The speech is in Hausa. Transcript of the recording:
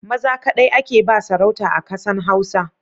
Maza kaɗai ake ba sarauta a kasan Hausa